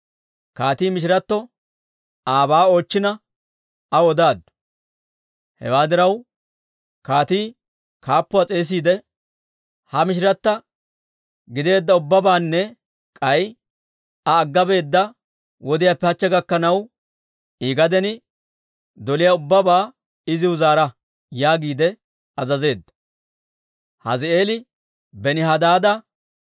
Kaatii mishiratto aabaa oochchina, aw odaaddu. Hewaa diraw, kaatii kaappuwaa s'eesiide, «Ha mishirattiwaa gideedda ubbabaanne k'ay iza agga beedda wodiyaappe hachche gakkanaw, I gaden doliyaa ubbabaa iziw zaara» yaagiide azazeedda.